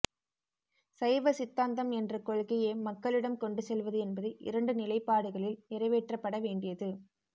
சைவ சித்தாந்தம் என்ற கொள்கையை மக்களிடம் கொண்டு செல்வது என்பது இரண்டு நிலைப்பாடுகளில் நிறைவேற்றப்பட வேண்டியது